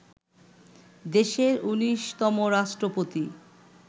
দেশের ১৯তমরাষ্ট্রপতি